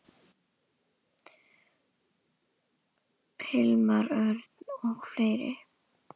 Hilmar Örn og fleiri.